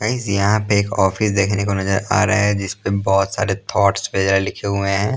Guys यहाँ पे एक ऑफिस देखने को नजर आ रहा है जिस पे बहुत सारे थॉट्स पे लिखे हुए हैं ।